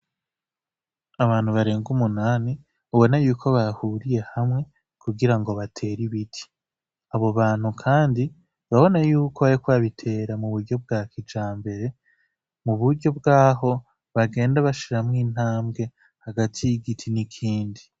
Abantu barenga umunani ubona yuko bahuriye hamwe kugira ngo batera ibiti abo bantu, kandi babona yuko, ariko babitera mu buryo bwa kija mbere mu buryo bw'aho bagenda bashiramwo intambwe hagati y'igiti n'ikindi.